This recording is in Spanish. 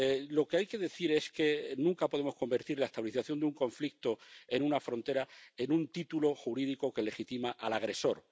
Lo que hay que decir es que nunca podemos convertir la estabilización de un conflicto en una frontera en un título jurídico que legitima al agresor.